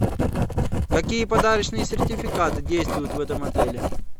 какие подарочные сертификаты действуют в этом отеле